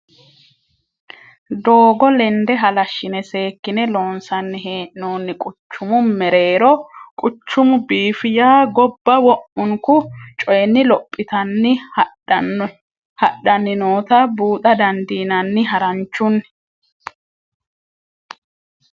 Doogo lende halashine seekkine loonsanni hee'nonni quchumu mereero quchumu biifi yaa gobba wo'munku coyinni lophittanni hadhanni nootta buuxa dandiinanni haranchunni.